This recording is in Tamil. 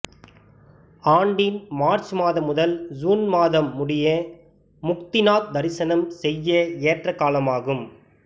ஆண்டின் மார்ச் மாதம் முதல் சூன் மாதம் முடிய முக்திநாத் தரிசனம் செய்ய ஏற்ற காலமாகும்